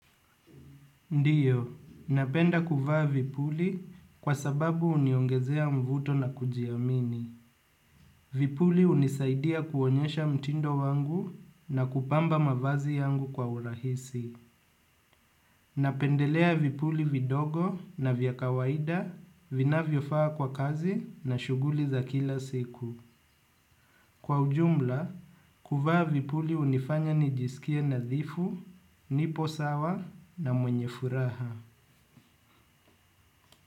Ndiyo, napenda kuvaa vipuli kwa sababu uniongezea mvuto na kujiamini. Vipuli unisaidia kuonyesha mtindo wangu na kupamba mavazi yangu kwa urahisi. Napendelea vipuli vidogo na vyakawaida vina viofaa kwa kazi na shuguli za kila siku. Kwa ujumla, kuvaa vipuli unifanya nijisikia nadhifu, nipo sawa na mwenye furaha.